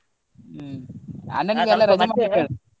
ಹ್ಮ್ .